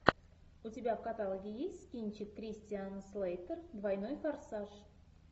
у тебя в каталоге есть кинчик кристиан слейтер двойной форсаж